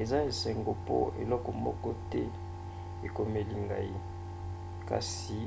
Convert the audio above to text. eza esengo mpo eloko moko te ekomeli ngai kasi